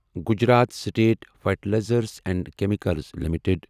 Gujarat state fertilizers and chemicals limited